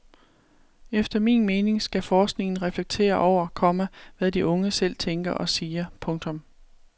Efter min mening skal forskningen reflektere over, komma hvad de unge selv tænker og siger. punktum